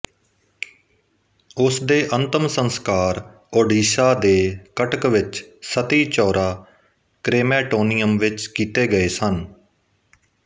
ਉਸ ਦੇ ਅੰਤਿਮ ਸੰਸਕਾਰ ਓਡੀਸ਼ਾ ਦੇ ਕਟਕ ਵਿੱਚ ਸਤੀਚੌਰਾ ਕ੍ਰੇਮੈਟੋਨੀਅਮ ਵਿੱਚ ਕੀਤੇ ਗਏ ਸਨ